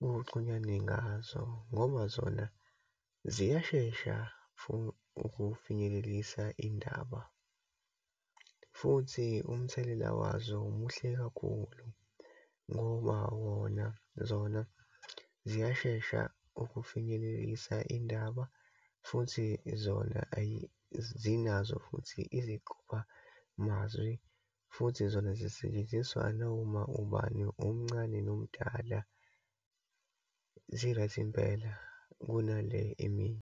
kuxhunyanwe ngazo ngoba zona ziyashesha for ukufinyelelise indaba, futhi umthelela wazo muhle kakhulu ngoba wona, zona ziyashesha ukufinyelelise indaba, futhi zona zinazo futhi iziqophamazwi, futhi zona zisetshenziswa noma ubani, omncane nomdala, zi-right impela, kunale eminye.